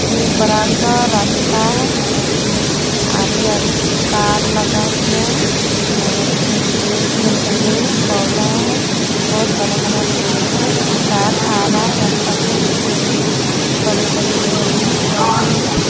ये बरा सा रास्ता है जिसके आरी आरी कार लगा हुआ है और कुछ जेंट्स लोग खड़े है पौधा है बहोत भी बड़ा बड़ा पेड़ है एक कार आ रहा है रास्ता के बीचों बीच बड़े बड़े बिल्डिंग है पौधे है।